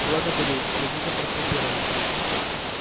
благодарю сердито фыркнул пиренн